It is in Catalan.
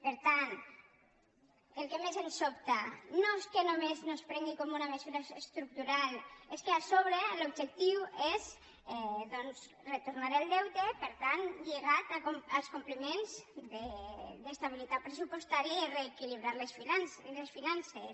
per tant el que més ens sobta no és que només no es prengui com una mesura estructural és que a sobre l’objectiu és doncs retornar el deute per tant lligat als compliments d’estabilitat pressupostària i a reequilibrar les finances